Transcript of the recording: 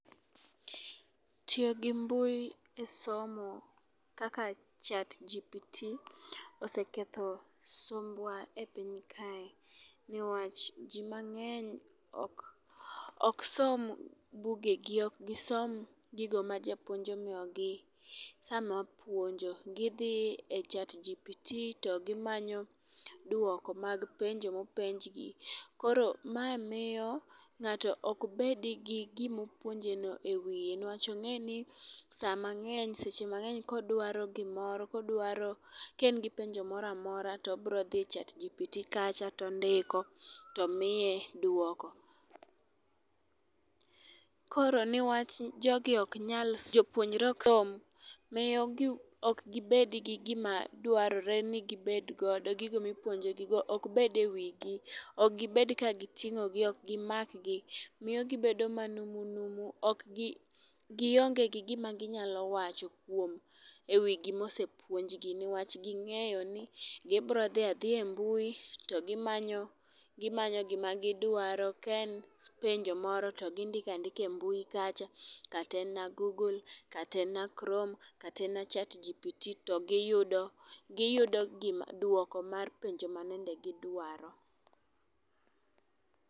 Tiyo gi mbui kisomo kaka chatgpt oseketho sombwa e piny kae newach jii mang'eny ok ok som bugegi ok gisom gigo ma japuonj omiyogi sama puonjo. Gidhi e chagpt to gimanyo duoko mag penjo mopenjgi. Koro ma miyo ng'ato ok bedi gi gimopuonje no e wiye newach ong'eni saa mang'eny seche mag'eny kodwaro gimoro ka en gi penjo moramora tobro dhi e chatgpt kacha tondiko tomiye duoko. Koro newach jogi ok nyal jopunjre ok som miyo gi ok gibed gi gima dwarore ni gibed godo gigo mipuonjo gi go ok bed ewigi ok gibed ka giting'o gi ok gimak gi miyo gibedo manumunumu ok gionge gi gima ginyalo wacho kuom ewi gimose puonjgi niwach ging'eyo ni gibro dhi adhiya e mbui to gimanyo gimanyo gima gidwaro, kaen penjo moro to gindikandika e mbui kacha kata en google kata en chrome kata en chatgpt to giyudo giyudo gima duoko mar penjo mayande gi dwaro